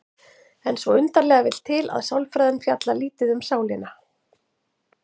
En svo undarlega vill til að sálfræðin fjallar lítið um sálina.